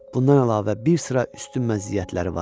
Bundan əlavə bir sıra üstün məziyyətləri var.